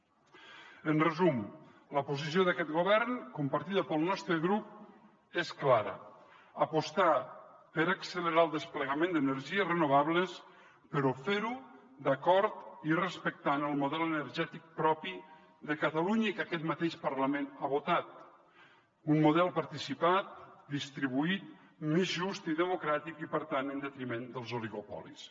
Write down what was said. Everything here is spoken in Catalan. en resum la posició d’aquest govern compartida pel nostre grup és clara apostar per accelerar el desplegament d’energies renovables però fer ho d’acord i respectant el model energètic propi de catalunya i que aquest mateix parlament ha votat un model participat distribuït més just i democràtic i per tant en detriment dels oligopolis